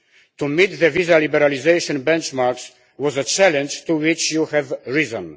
To meet the visa liberalisation benchmarks was a challenge to which you have risen.